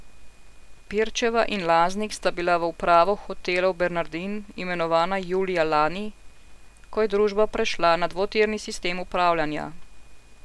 Pirčeva in Laznik sta bila v upravo Hotelov Bernardin imenovana julija lani, ko je družba prešla na dvotirni sistem upravljanja.